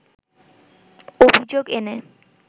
অভিযোগ এনে